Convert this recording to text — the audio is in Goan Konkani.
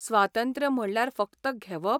स्वातंत्र्य म्हणल्यार फक्त 'घेवप '?